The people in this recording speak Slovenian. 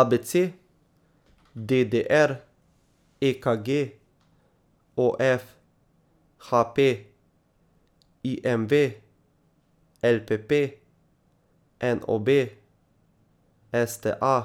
A B C; D D R; E K G; O F; H P; I M V; L P P; N O B; S T A;